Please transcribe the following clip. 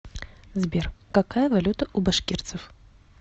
сбер какая валюта у башкирцев